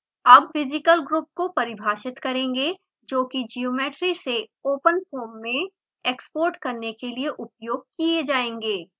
अब physical group को परिभाषित करेंगे जो कि geometry से openfoam में एक्सपोर्ट करने के लिए उपयोग किए जायेंगे